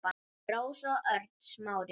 Rósa og Örn Smári.